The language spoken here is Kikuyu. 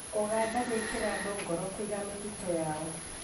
Ũganda gwĩkĩra andũ ngoro kũiga mĩtitũ yao